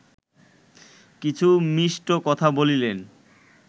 কিছু মিষ্ট কথা বলিলেন